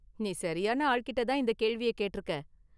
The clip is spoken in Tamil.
நீ சரியான​ ஆள்கிட்ட தான் இந்த கேள்விய கேட்டிருக்க.​